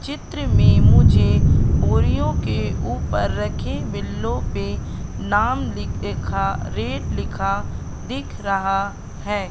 चित्र में मुझे ओरियो के ऊपर रखे बिल्लो पे नाम ली अ लिखा रेट लिखा दिख रहा है।